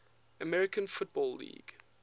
american football league